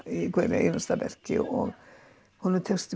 í hverju einasta verki og honum tekst